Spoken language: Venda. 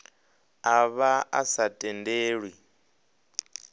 a vha a sa tendelwi